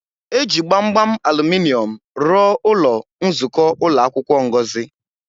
E ji gbamgbam aluminọmụ rụọ ụlọ nzukọ ụlọ akwụkwọ Ngozi.